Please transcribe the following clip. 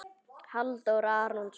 Halldór Arason.